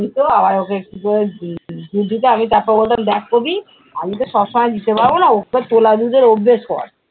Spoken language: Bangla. তো আবার ওকে একটু করে দুধ দিতাম উহ উহ আমি তারপরে বলতাম দেখ কবি আমি তো সব সময় দিতে পারবো না ওকে তোলা দুধের অভ্যেস কর।